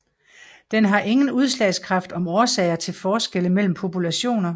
Den har ingen udsagnskraft om årsager til forskelle mellem populationer